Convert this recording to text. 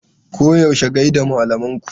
Koyaushe gai da malaman ku!